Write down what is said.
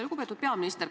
Lugupeetud peaminister!